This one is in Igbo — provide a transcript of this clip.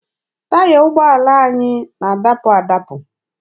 Taya ụgbọala anyị na-adapụ adabụ.